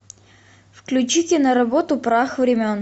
включите на работу прах времен